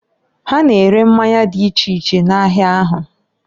Ha na-ere mmanya di iche iche n'ahia ahu.